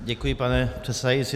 Děkuji, pane předsedající.